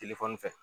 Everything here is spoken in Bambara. Telefɔni fɛ